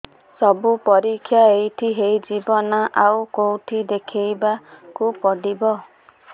ସବୁ ପରୀକ୍ଷା ଏଇଠି ହେଇଯିବ ନା ଆଉ କଉଠି ଦେଖେଇ ବାକୁ ପଡ଼ିବ